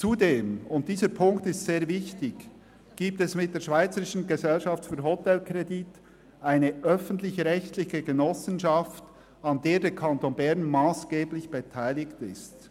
Zudem – und dieser Punkt ist sehr wichtig – gibt es mit der SGH eine öffentlich-rechtliche Genossenschaft, an der der Kanton Bern massgeblich beteiligt ist.